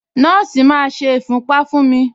Nọ́ọ̀sì máa ṣe ìfúnpá fún mi.